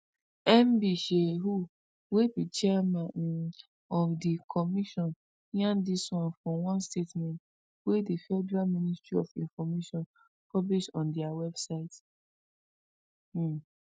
mb shehu wey be chairman um of di commission yarn dis one for one statement wey di federal ministry of information publish on dia website um